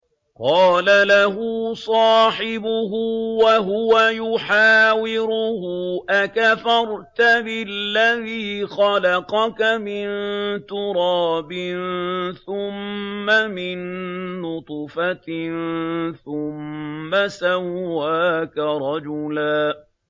قَالَ لَهُ صَاحِبُهُ وَهُوَ يُحَاوِرُهُ أَكَفَرْتَ بِالَّذِي خَلَقَكَ مِن تُرَابٍ ثُمَّ مِن نُّطْفَةٍ ثُمَّ سَوَّاكَ رَجُلًا